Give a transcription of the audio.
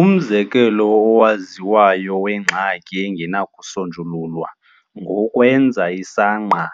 Umzekelo owaziwayo wengxaki engenakusonjululwa ngowokwenza isangqa